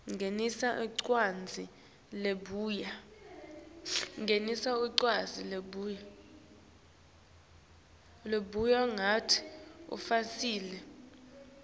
ngenisa incwadzi lebuya